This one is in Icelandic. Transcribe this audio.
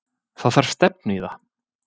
Það þarf stefnu í það.